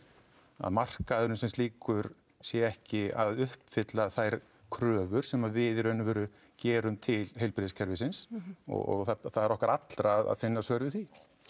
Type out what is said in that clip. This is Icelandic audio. að markaðurinn sem slíkur sé ekki að uppfylla þær kröfur sem við í raun og veru gerum til heilbrigðiskerfisins og það er okkar allra að finna svör við því